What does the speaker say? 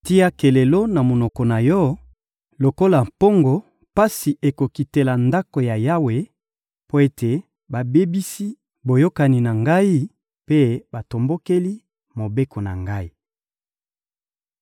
Tia kelelo na monoko na yo! Lokola mpongo, pasi ekokitela Ndako ya Yawe, mpo ete babebisi boyokani na Ngai mpe batombokeli Mobeko na Ngai.